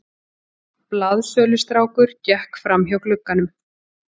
Blaðsölustrákur gekk framhjá glugganum.